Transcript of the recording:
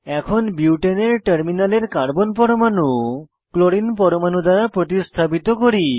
এখন বিউটেনের টার্মিনালের কার্বন পরমাণু ক্লোরিন পরমাণু দ্বারা প্রতিস্থাপিত করি